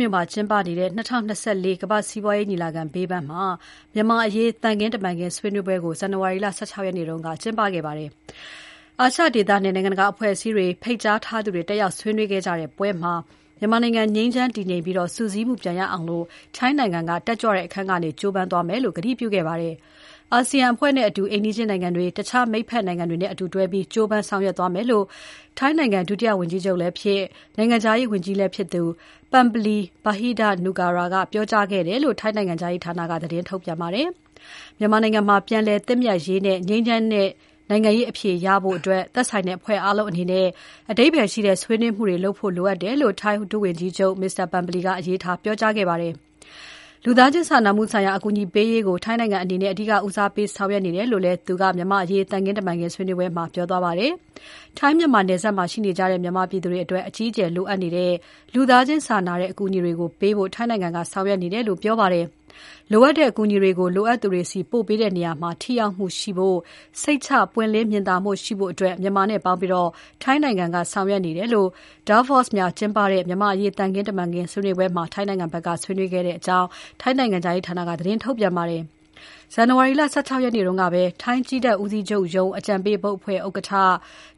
မြို့မှာကျင်းပနေတဲ့ ၂၀၂၄ ကမ္ဘာစီးပွားရေးညီလာခံဘေးပန်းမှာ မြန်မာ့အရေး သံခင်းတမန်ခင်းဆွေးနွေးပွဲကို ဇန်နဝါရီ ၁၆ ရက်နေ့က ကျင်းပခဲ့ပါတယ်။ အာရှဒေသနဲ့ နိုင်ငံတကာအဖွဲ့အစည်းတွေက ဖိတ်ကြားထားသူတွေ တက်ရောက်ဆွေးနွေးခဲ့ကြတဲ့ ပွဲမှာ ထိုင်းနိုင်ငံအနေနဲ့ မြန်မာနိုင်ငံ ငြိမ်းချမ်း တည်ငြိမ်ပြီး စုစည်းမှုပြန်ရအောင် ထိုင်းနိုင်ငံက တက်ကြွတဲ့ အခန်းကဏ္ဍကနေ ကြိုးပမ်းသွားမယ်လို့ ကတိပြုခဲ့ပါတယ်။ အာဆီယံအဖွဲ့နဲ့အတူ အိမ်နီးချင်းနိုင်ငံတွေ တခြားမိတ်ဖက်နိုင်ငံတွေနဲ့ အတူတွဲပြီး ကြိုးပမ်းဆောင်ရွက်သွားမယ်လို့ ထိုင်းနိုင်ငံ ဒုဝန်ကြီးချုပ်လည်းဖြစ် နိုင်ငံခြားရေးဝန်ကြီးလည်းဖြစ်သူ Parnpree Bahiddha-Nukara ကပြောကြားခဲ့တယ်လို့ ထိုင်းနိုင်ငံခြားရေးဌာနက သတင်းထုတ်ပြန်ပါတယ်။ မြန်မာနိုင်ငံမှာ ပြန်လည်သင့်မြတ်ရေးနဲ့ ငြိမ်းချမ်းတဲ့နိုင်ငံရေးအဖြေရဖို့ သက်ဆိုင်တဲ့အဖွဲ့အားလုံးအနေနဲ့ အဓိပ္ပါယ်ရှိတဲ့ ဆွေးနွေးမှုတွေ လုပ်ဖို့လိုအပ်တယ်လို့ ထိုင်းဒုဝန်ကြီးချုပ် Mr. Parnpree ကအလေးထား ပြောကြားခဲ့ပါတယ်။ လူသားချင်းစာနာမှုဆိုင်ရာ အကူအညီပေးရေးကို ထိုင်းနိုင်ငံအနေနဲ့ အဓိကဦးစားပေးဆောင်ရွက်နေတယ်လို့လည်း သူက မြန်မာ့အရေး သံခင်းတမန်ခင်းဆွေးနွေးပွဲမှာ ပြောခဲ့ပါတယ်။ ထိုင်း မြန်မာနယ်စပ်မှာရှိနေကြတဲ့ မြန်မာပြည်သူတွေအတွက် အကြီးအကျယ်လိုအပ်နေတဲ့ လူသားချင်းစာနာတဲ့ အကူအညီတွေကို ပေးဖို့ ထိုင်းနိုင်ငံက ဆောင်ရွက်နေတယ်လို့ ပြောပါတယ်။ လိုအပ်တဲ့အကူအညီတွေကို လိုအပ်သူတွေဆီ ပို့ပေးတဲ့နေရာမှာ ထိရောက်မှုရှိဖို့၊ စိတ်ချ ပွင့်လင်းမြင်သာမှုရှိအတွက် မြန်မာနဲ့ ပေါင်းပြီး ထိုင်းနိုင်ငံက ဆောင်ရွက်နေတယ်လို့ Davos မှာကျင်းပခဲ့တဲ့ မြန်မာ့အရေး သံခင်းတမန်ခင်းဆွေးနွေးပွဲမှာ ထိုင်းနိုင်ငံဘက်က ဆွေးနွေးခဲ့ကြောင်း ထိုင်းနိုင်ငံခြားရေးဌာနက သတင်းထုတ်ပြန်ထားပါတယ်။ ဇန်နဝါရီလ ၁၆ ရက်နေ့ကပဲ ထိုင်းကြည်းတပ်ဦးစီးချုပ်ရုံး အကြံပေးဘုတ်အဖွဲ့ဥက္ကဋ္ဌ၊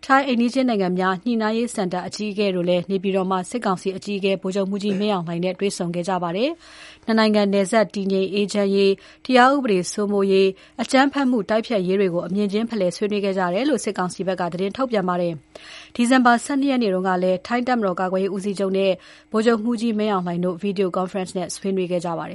ထိုင်းအိမ်နီးချင်းနိုင်ငံများ ညှိနှိုင်းရေးစင်တာ အကြီးအကဲတို့ နေပြည်တော်မှာ စစ်ကောင်စီအကြီးအကဲ ဗိုလ်ချုပ်မှူးကြီး မင်းအောင်လှိုင်တို့ တွေ့ဆုံခဲ့ကြပါတယ်။ ၂ နိုင်ငံနယ်စပ် တည်ငြိမ်အေးချမ်းရေး၊ တရားဥပဒေစိုးမိုးရေး၊ အကြမ်းဖက်မှုတိုက်ဖျက်ရေးတွေကို အမြင်ချင်းဖလှယ် ဆွေးနွေးခဲ့ကြတယ်လို့ စစ်ကောင်စီက သတင်းထုတ်ပြန်ပါတယ်။ ဒီဇင်ဘာ ၁၂ ရက်နေ့ကလည်း ထိုင်းတပ်မတော်ကာကွယ်ရေးဦးစီးချုပ်နဲ့ ဗိုလ်ချုပ်မှူးကြီး မင်းအောင်လှိုင်တို့ Video Conferencing နဲ့ဆွေးနွေးခဲ့ကြပါတယ်